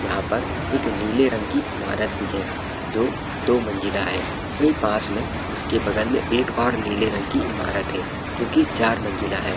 यहाँ पर एक नीले रंग की इमारत भी है जो दो मंजिला है वही पास में उसके बगल में एक और नीले रंग की इमारत है जो चार मंजिला है।